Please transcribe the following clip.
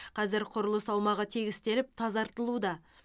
қазір құрылыс аумағы тегістеліп тазартылуда